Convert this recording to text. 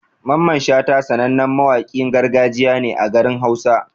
Mamman Shata sanannen mawaƙin gargajiya ne a garin hausa.